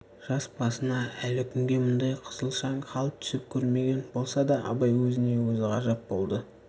жас басына әлі күнге мұндай қысылшаң хал түсіп көрмеген болса да абай өз-өзіне ғажап болды